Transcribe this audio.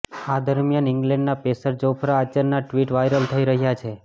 આ દરમિયાન ઇંગ્લેન્ડના પેસર જોફ્રા આર્ચરના ટ્વીટ વાયરલ થઈ રહ્યા છે